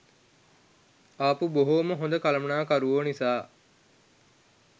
ආපු බොහෝම හොඳ කලමනාකරුවෝ නිසා